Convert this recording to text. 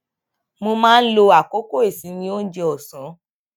mo máa ń lo àkókò ìsinmi oúnjẹ òsán